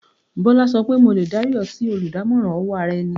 Bọ́lá sọ pé "mo lè dárí ọ sí oludamoran owó ara-ẹni."